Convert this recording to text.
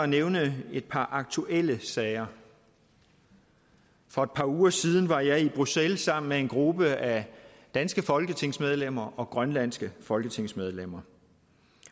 nævne et par aktuelle sager for et par uger siden var jeg i bruxelles sammen med en gruppe af danske folketingsmedlemmer og grønlandske folketingsmedlemmer